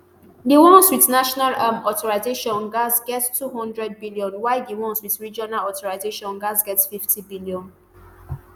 di ones wit national um authorisation gatz get ntwo hundred billion while di ones wit regional authorisation gatz get n fifty billion